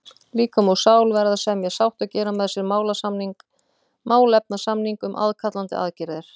Líkami og sál verða að semja sátt og gera með sér málefnasamning um aðkallandi aðgerðir.